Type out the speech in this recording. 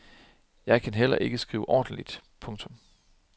Jeg kan heller ikke skrive ordentligt. punktum